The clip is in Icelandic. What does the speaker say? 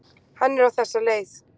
Hann er á þessa leið: